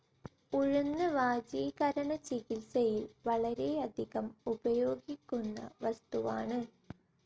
ഉഴുന്ന് വാജീകരണ ചികിത്സയിൽ വളരെയധികം ഉപയോഗിക്കുന്ന വസ്തുവാണ്‌.